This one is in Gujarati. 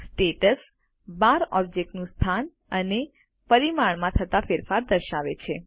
સ્ટેટસ બાર ઑબ્જેક્ટનું સ્થાન અને પરિમાણમાં થતા ફેરફારને દર્શાવે છે